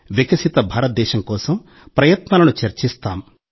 వికసిత భారతదేశం కోసం ప్రయత్నాలను చర్చిస్తాం